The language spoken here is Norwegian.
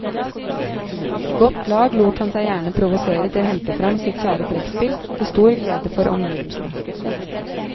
I godt lag lot han seg gjerne provosere til å hente frem sitt kjære trekkspill, til stor glede for omgivelsene.